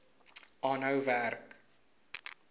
aanhou werk